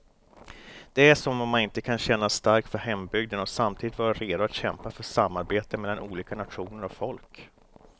Det är som om man inte kan känna starkt för hembygden och samtidigt vara redo att kämpa för samarbete mellan olika nationer och folk.